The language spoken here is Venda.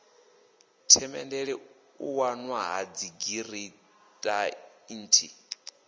themendele u wanwa ha dzigiranthi